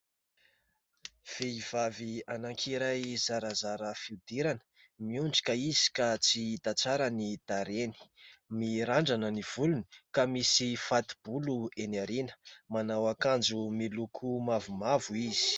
Vehivavy anankiray zarazara fihodirana, miondrika izy ka tsy hita tsara ny tarehiny. Mirandrana ny volony ka misy fati-bolo eny aoriana. Manao akanjo miloko mavomavo izy.